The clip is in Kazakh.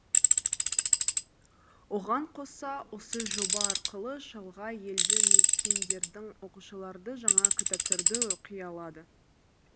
оған қоса осы жоба арқылы шалғай елді мекендердің оқушылары жаңа кітаптарды оқи алады